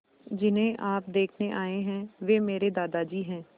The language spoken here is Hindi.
जिन्हें आप देखने आए हैं वे मेरे दादाजी हैं